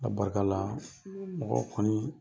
Ala barika la , mɔgɔ kɔni